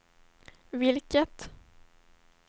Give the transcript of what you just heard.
vilket